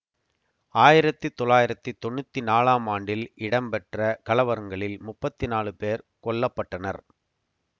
ஆயிரத்தி தொள்ளாயிரத்தி தொன்னூத்தி நாலாம் ஆண்டில் இடம்பெற்ற கலவரங்களில் முப்பத்தி நாலு பேர் கொல்ல பட்டனர்